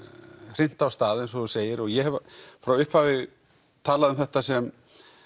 hrint af stað eins og þú segir og ég hef frá upphafi talað um þetta sem